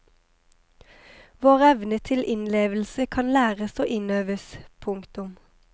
Vår evne til innlevelse kan læres og innøves. punktum